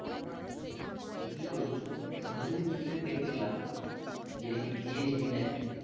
ঠিকই বলছো আমি সেদিন টিভিতে দেখছিলাম যেটা কি GST নাকি